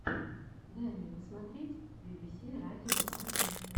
дай мне посмотреть би би си радио один